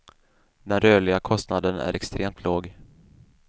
Den rörliga kostnaden är extremt låg.